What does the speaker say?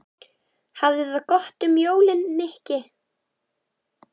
Hafðu það gott um jólin, Nikki